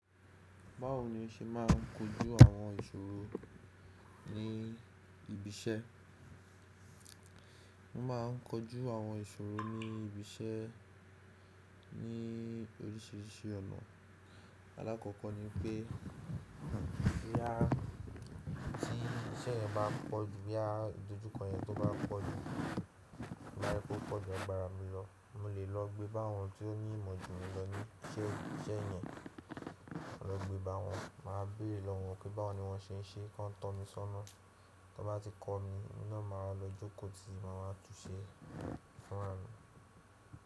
Báwo ni o ṣe máà ń kojú àwọn ìṣòro ní ibi iṣẹ́? Mo máa ń kojú àwọn ìṣòro ní ibi iṣẹ́ ní oríṣìíríṣìí ọ̀nà. Alákọ̀ọ́kọ́ ni pé tí iṣẹ́ yẹn bá pọ̀jù, boya idojukọ yẹn to bá pọ̀jù, to ba jẹ wipe ò pọ̀jù agbára mi lọ, mo lè lọ gbé bá àwọn tí ó ní ìmọ̀ jù mí lọ ní iṣẹ́ yẹn. Lọ gbé bá wọn, màá béèrè lọ wọ́n pé báwo ni wọ́n ṣe ń ṣe, kí wọ́n tọ́ mi sọ́nà. Tí wọ́n bá ti kọ́ mi, ohun ná màá wa lọ jókòó tí, máa wa tún ṣẹ fúnra mi.